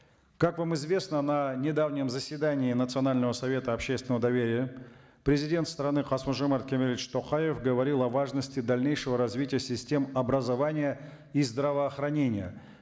как вам известно на недавнем заседании национального совета общественного доверия президент страны касым жомарт кемелович токаев говорил о важности дальнейшего развития систем образования и здравоохранения